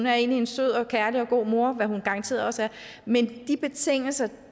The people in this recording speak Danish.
er en sød og kærlig og god mor hvad hun garanteret også er men de betingelser og